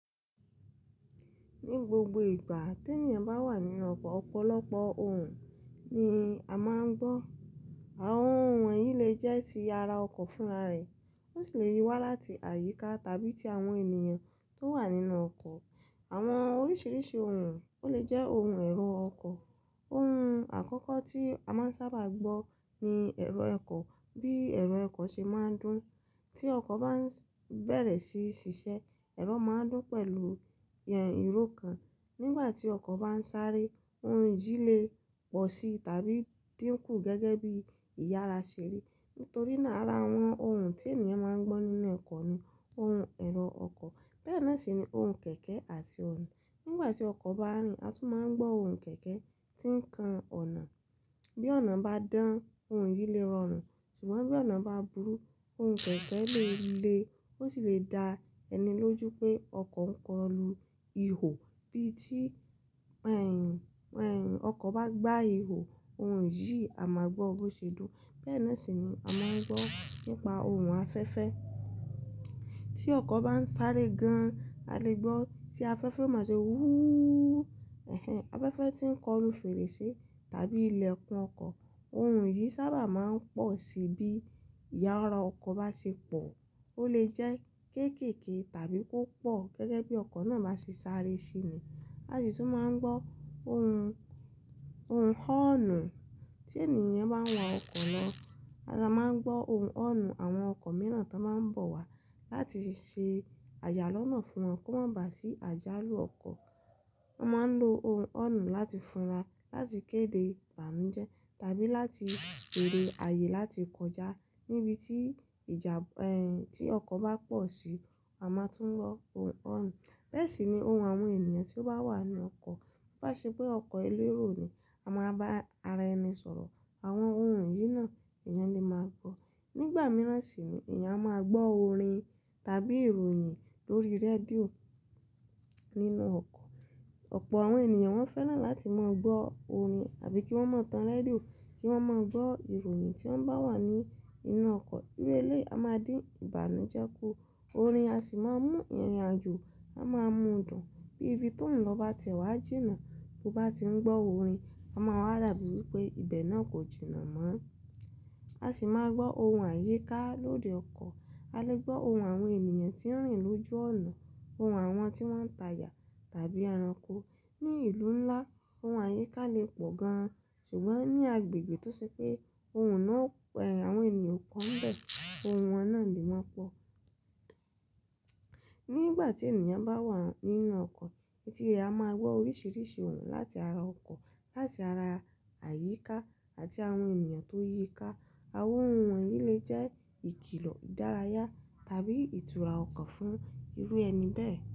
Ní gbogbo ìgbà tí ènìyàn bá wà nínú ọkọ̀, ọ̀pọ̀lọpọ̀ ohùn ni a máa ń gbọ́. Àwọn ohùn yìí lè jẹ́ ti ara ọkọ̀ fún ara rẹ̀, wọ́n sì lè wá láti àyíká tàbí ti àwọn ènìyàn tó wà nínú ọkọ̀. Àwọn oríṣiríṣi ohùn, ó lè jẹ́ ohùn ẹ̀rọ ọkọ̀. Ohùn àkọ́kọ́ tí a máa ń sábà gbọ́ ni ẹ̀rọ ẹ̀kọ, bí ẹ̀rọ ẹ̀kọ́ ṣe máa ń dún. Tí ọkọ̀ bá ń bẹ̀rẹ̀ sí ṣiṣẹ́, ẹ̀rọ máa ń dún pẹ̀lú ìró kan. Nígbà tí ọkọ̀ bá ń sáré, ohùn yìí lè pọ̀ sí tàbí dínkù gẹ́gẹ́ bí ìyára ṣe rí. Nítorí náà ara àwọn ohùn tí ènìyàn máa ń gbọ́ nínú ọkọ́ ni ohùn ẹ̀rọ ọkọ̀. Bẹ́ẹ̀ náà sì ni ohùn kẹ̀kẹ́ àti ọ̀nà. Nígbà tí ọkọ̀ bá rìn, a tún máa ń gbọ́ ohùn kẹ̀kẹ́ tí ń kan ọ̀nà. Bí ọ̀nà bá dán, ohùn yìí lè rọrùn, ṣùgbọ́n bí ọ̀nà bá burú, ohùn kẹ̀kẹ́ lè le, ó sì lè dá ẹni lójú pé ọkọ̀ ń kọlu ihò. Bí tí ẹ̀, ẹ̀, ọkọ̀ bá gbá ihò, ohùn yìí a máa gbọ́ bó ṣe dùn. Bẹ́ẹ̀ náà sì ni a máa ń gbọ́ nípa ohùn afẹ́fẹ́. Tí ọkọ̀ bá ń sáré gan, a lè gbọ́ tí afẹ́fẹ́ máa ṣe wúúù. Ẹ̀hẹn! Afẹ́fẹ́ tí ń kọlu fèrèsé tàbí ilẹ̀kùn ọkọ̀. Ohùn yìí sábà máa ń pọ̀ sí bí ìyára ọkọ̀ bá ṣe pọ̀. Ó lè jẹ́ kéékèèké tàbí ko pọ̀ gẹ́gẹ́ bí ọkọ̀ náà bá ṣe sáré síi ni. A sì tún máa ń gbọ́ ohùn, ohùn họọ̀nù. Tí ènìyàn bá ń wa ọkọ̀ lọ, a máa ń gbọ́ ohùn hóọ̀nù àwọn ọkọ̀ mìíràn tán máa ń bọ̀ wá láti ṣe àyà lọ́nà fún wọn kó má ba à sí àjálù ọkọ̀. Wọ́n máa ń lo ohùn hóọ̀nù láti funra, láti kéde ìbànújẹ́ tàbí láti béèrè àyè láti kọjá níbi tí ìjà, ẹ́, tí ọkọ̀ bá pọ̀ sí, a máa tún gbọ́ ohùn hóọ̀nù. Bẹ́ẹ̀ sì ni ohùn àwọn ènìyàn tí ó bá wà nu ọkọ̀. Ba ṣe pé ọkọ̀ elérò ni, a máa bá ara ẹni sọ̀rọ̀. Àwọn ohùn yìí náà èèyàn ni máa gbọ́. Nígbà mìíràn sì ni èèyàn máa gbọ́ orin tàbí ìròyìn lórí rédíò nínú ọkọ̀. Ọ̀pọ̀ àwọn ènìyàn wọ́n fẹ́ràn láti mọ gbọ́ orin àbí kí wọ́n mọ tan rédíò kí wọ́n mọ gbọ́ ìròyìn tí wọ́n bá wà ní inú ọkọ̀. Iru eléyìí a máa dín ìbànújẹ́ kù, orin a sì máa mú ìrìnàjò a máa mú dùn. Bí ibi tó ń lọ bá ti ẹ̀ wá jìnnà, bó bá ti ń gbọ́ orin, a máa wà da bíi wipé ibẹ̀ náà kò jìnnà mọ́. A sì máa gbọ́ ohùn àyíká lórí ọkọ̀. A lè gbọ́ ohùn àwọn ènìyàn tí ń rìn lójú ọ̀nà, ohùn àwọn tí wọ́n ń ta'ja tàbí ẹranko. Ni ìlú ńlá, ohùn àyíká lè pọ̀ gan-an, ṣùgbọ́n ní agbègbè tó ṣe pé ohùn náà, ẹ́, àwọn ènìyàn pọ̀ ń bẹ̀, ohùn wọn náà ni máa pọ̀. Nígbà tí ènìyàn bá wà nínú ọkọ̀, etí rẹ̀ a máa gbọ́ oríṣiríṣi ohùn láti ara ọkọ̀, láti ara àyíká àti àwọn ènìyàn tó yíká. Àwọn ohùn yìí lè jẹ́ ìkìlọ̀, ìdárayá tàbí ìtura ọkọ̀ fún irú ẹni bẹ́ẹ̀